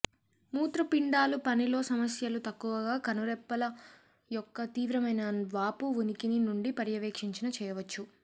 మూత్రపిండాలు పని లో సమస్యలు తక్కువగా కనురెప్పలు యొక్క తీవ్రమైన వాపు ఉనికిని నుండి పర్యవేక్షించిన చేయవచ్చు